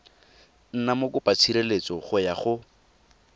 nna mokopatshireletso go ya go